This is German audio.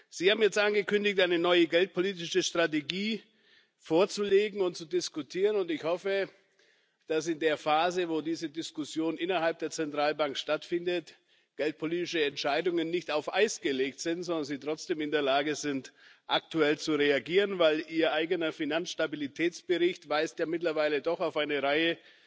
Sie haben jetzt angekündigt, eine neue geldpolitische Strategie vorzulegen und zu diskutieren, und ich hoffe, dass in der Phase, in der diese Diskussion innerhalb der Zentralbank stattfindet, geldpolitische Entscheidungen nicht auf Eis gelegt sind, sondern Sie trotzdem in der Lage sind, aktuell zu reagieren, denn Ihr eigener Finanzstabilitätsbericht weist ja mittlerweile doch auf eine Reihe